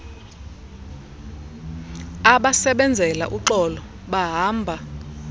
abasebenzela uxolo bahamba